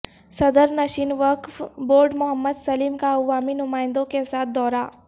صدرنشین وقف بورڈ محمد سلیم کا عوامی نمائندوں کے ساتھ دورہ